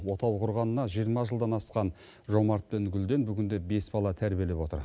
отау құрғанына жиырма жылдан асқан жомарт пен гүлден бүгінде бес бала тәрбиелеп отыр